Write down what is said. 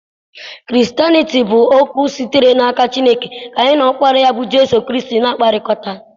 Kristanịtii bụ oku sitere n'aka Chineke ka anyị na Ọkpara ya bụ Jizọs Kraịst na-akpakọrịta.